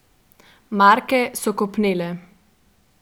Marke so kopnele.